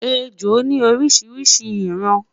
ẹjọ ni orishirishi iran